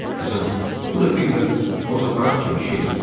Qızım, bu da bir növ fotoaparat kimi şeydir.